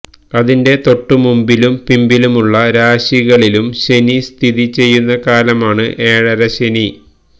അതിന്റെ തൊട്ടു മുമ്പിലും പിമ്പലുമുള്ള രാശികളിലും ശനി സ്ഥതി ചെയ്യുന്ന കാലമാണ് ഏഴരശ്ശനി